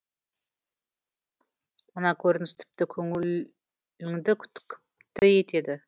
мына көрініс тіпті көңіл іңді күпті етеді